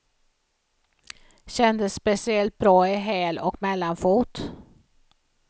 Kändes speciellt bra i häl och mellanfot.